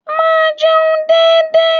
Máa jẹun dédé.